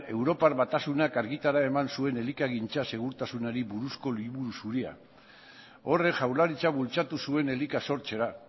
europar batasunak argitara eman zuen elikagintza segurtasunari buruzko liburu zuria horrek jaurlaritza bultzatu zuen elika sortzera